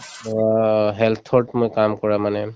ধৰা health ত মই কাম কৰা মানে